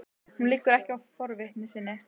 Hún liggur ekki á forvitni sinni.